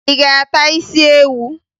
Ị ga-ata isi ewu?